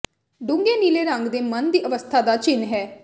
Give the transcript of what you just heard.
ਡੂੰਘੇ ਨੀਲੇ ਰੰਗ ਦੇ ਮਨ ਦੀ ਅਵਸਥਾ ਦਾ ਚਿੰਨ੍ਹ ਹੈ